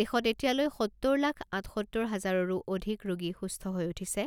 দেশত এতিয়ালৈ সত্তৰ লাখ আঠসত্তৰ হাজাৰৰো অধিক ৰোগী সুস্থ হৈ উঠিছে